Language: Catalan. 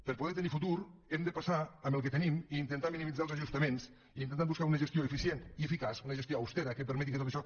per poder tenir futur hem de passar amb el que tenim i intentar minimitzar els ajustaments i intentar buscar una gestió eficient i eficaç una gestió austera que permeti que tot això